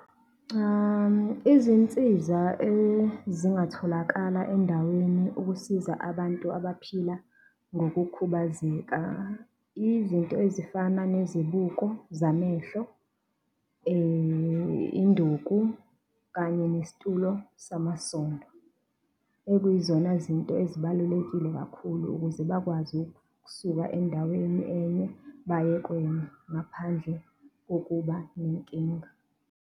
Izinsiza ezingatholakala endaweni ukusiza abantu abaphila ngokukhubazeka izinto ezifana nezibuko zamehlo, induku kanye lesitulo samasondo, ekwiyizona zinto ezibalulekile kakhulu ukuze bakwazi ukusuka endaweni enye baye kwenye ngaphandle kokuba nenkinga.